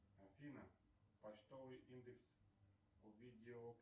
афина почтовый индекс